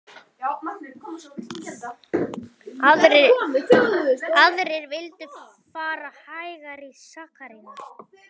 Aðrir vildu fara hægar í sakirnar.